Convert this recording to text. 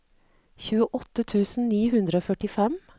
tjueåtte tusen ni hundre og førtifem